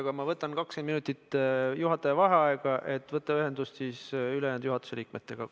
Aga ma teen 20-minutilise juhataja vaheaja, et võtta ühendust ülejäänud juhatuse liikmetega.